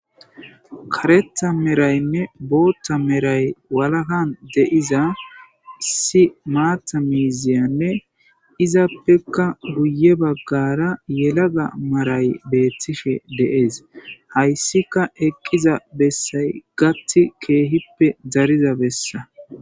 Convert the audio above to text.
Kareta meraynne bootta meray walagan deiza issi maata miiziyanne izappekka guye baggara yelaga maray beettishe dees hayssika eqqiza bessay gati keehippe dariza bessa